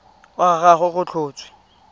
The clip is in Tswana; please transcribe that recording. wa ga gagwe go tlhotswe